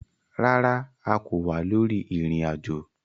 Rárá, a kò wà lórí ìrìn ajo